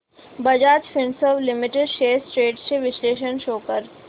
Bajaj Finserv limited shares trends चे विश्लेषण show कर